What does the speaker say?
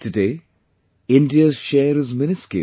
Today India's share is miniscule